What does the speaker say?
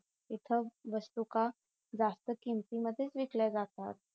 इथ वस्तू का जास्त किंमती मधेच विकल्या जातात